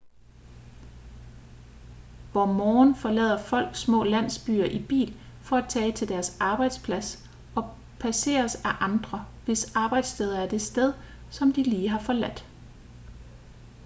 hvor morgen forlader folk små landsbyer i bil for at tage til deres arbejdsplads og passeres af andre hvis arbejdssteder er det sted som de lige har forladt